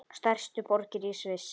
Stærstu borgir í Sviss